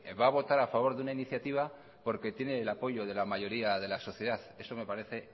va a votar a favor de una iniciativa porque tiene el apoyo de la mayoría de la sociedad eso me parece